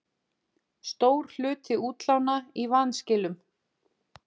Stór hluti útlána í vanskilum